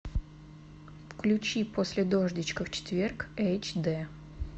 включи после дождичка в четверг эйч д